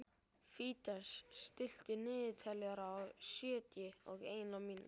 Fídes, stilltu niðurteljara á sjötíu og eina mínútur.